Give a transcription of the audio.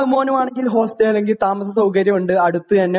മോന് വേണമെങ്കില് ഹോസ്റ്റല് അല്ലെങ്കിൽ താമസ സൌകര്യം ഉണ്ട് അടുത്ത് തന്നെ